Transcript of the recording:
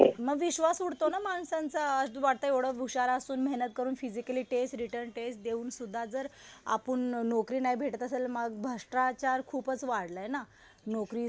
मग विश्वास उडतो ना माणसांचा. असं वाटतं एवढं हुशार असून, मेहनत करून फिजिकल टेस्ट, रिटन टेस्ट देऊन सुद्धा जर आपण नोकरी नाही भेटत असेल. मग भ्रष्टाचार खूपच वाढलाय ना नोकरीसाठी.